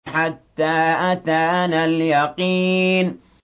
حَتَّىٰ أَتَانَا الْيَقِينُ